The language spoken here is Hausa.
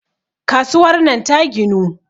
kasuwar nan ta ginu